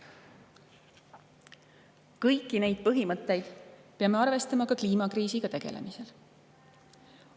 Kõiki neid põhimõtteid peame arvestama ka kliimakriisiga tegelemisel.